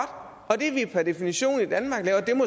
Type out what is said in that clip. og at det vi per definition